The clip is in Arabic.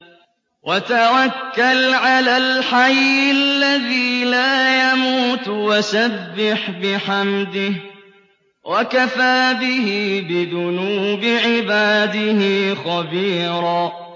وَتَوَكَّلْ عَلَى الْحَيِّ الَّذِي لَا يَمُوتُ وَسَبِّحْ بِحَمْدِهِ ۚ وَكَفَىٰ بِهِ بِذُنُوبِ عِبَادِهِ خَبِيرًا